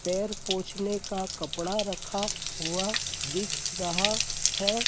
पैर पोछने का कपड़ा रखा हुआ दिख रहा है।